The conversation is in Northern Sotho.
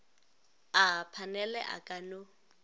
a phanele a ka no